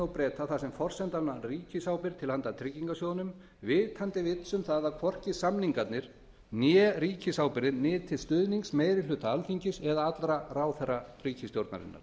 og breta þar sem forsendan var ríkisábyrgð til handa tryggingarsjóðnum vitandi vits um að hvorki samningarnir né ríkisábyrgðin nytu stuðnings meiri hluta alþingis eða allra ráðherra ríkisstjórnarinnar